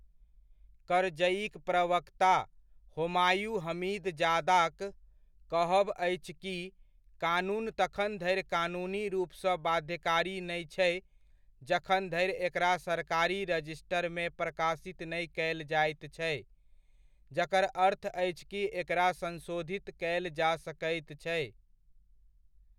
करजइक प्रवक्ता होमायूं हमीदजादाक कहब अछि कि कानून तखन धरि कानूनी रूपसँ बाध्यकारी नै छै जखन धरि एकरा सरकारी रजिस्टरमे प्रकाशित नहि कयल जाइत छै, जकर अर्थ अछि कि एकरा संशोधित कयल जा सकैत छै।